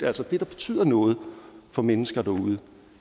altså det der betyder noget for mennesker derude